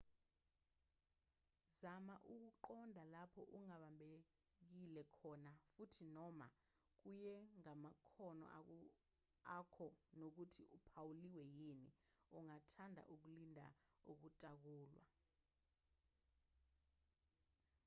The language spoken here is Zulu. zama ukuqonda lapho ungabambekile khona futhi noma kuye ngamakhono akho nokuthi uphawuliwe yini ungathanda ukulinda ukutakulwa